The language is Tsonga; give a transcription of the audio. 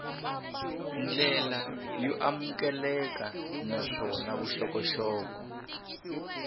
ndlela yo amukeleka naswona vuxokoxoko